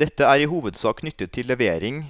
Dette er i hovedsak knyttet til levering